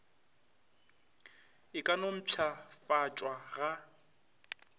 e ka no mpšhafatšwa ga